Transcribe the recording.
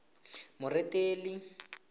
moretele